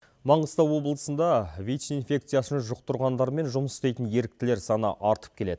маңғыстау облысында вич инфекциясын жұқтырғандармен жұмыс істейтін еріктілер саны артып келеді